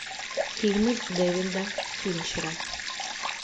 фильмы дэвида финчера